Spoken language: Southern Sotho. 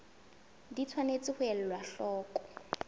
di tshwanetse ho elwa hloko